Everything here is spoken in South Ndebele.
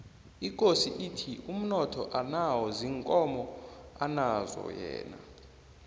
ikosi ithi umnotho anawo ziinkomo anazo yena